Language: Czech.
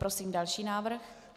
Prosím další návrh.